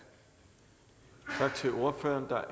har som ordfører